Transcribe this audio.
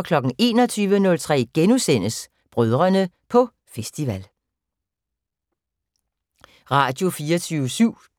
Radio24syv